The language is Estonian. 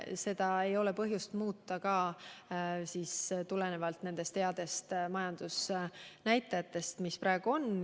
Seda ei ole põhjust muuta ka tulenevalt nendest headest majandusnäitajatest, mis praegu on.